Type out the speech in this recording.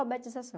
Alfabetização.